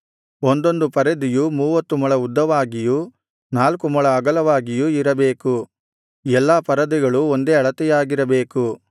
ಒಂದೊಂದು ಪರದೆಯು ಮೂವತ್ತು ಮೊಳ ಉದ್ದವಾಗಿಯೂ ನಾಲ್ಕು ಮೊಳ ಅಗಲವಾಗಿಯೂ ಇರಬೇಕು ಎಲ್ಲಾ ಪರದೆಗಳು ಒಂದೇ ಅಳತೆಯಾಗಿರಬೇಕು